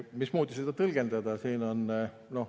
Mismoodi seda tõlgendada?